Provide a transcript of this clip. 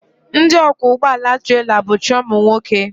Ndị ọkwọ ụgbọala trela bụcha ụmụnwoke